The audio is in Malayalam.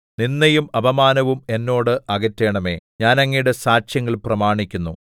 നിന്ദയും അപമാനവും എന്നോട് അകറ്റണമേ ഞാൻ അങ്ങയുടെ സാക്ഷ്യങ്ങൾ പ്രമാണിക്കുന്നു